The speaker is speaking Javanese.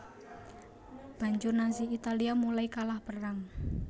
Banjur Nazi Italia mulai kalah perang